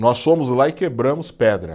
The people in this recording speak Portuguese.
Nós fomos lá e quebramos pedra.